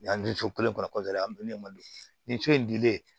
Yan ni so kelen kɔnɔ an bɛ malo nin so in dilen